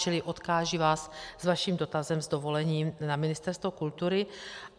Čili odkážu vás s vašim dotazem s dovolením na Ministerstvo kultury.